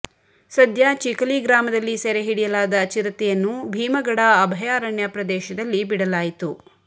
ಸದ್ಯ ಚಿಕಲಿ ಗ್ರಾಮದಲ್ಲಿ ಸೆರೆ ಹಿಡಿಯಲಾದ ಚಿರತೆಯನ್ನು ಭೀಮಗಡ ಅಭಯಾರಣ್ಯ ಪ್ರದೇಶದಲ್ಲಿ ಬೀಡಲಾಯಿತು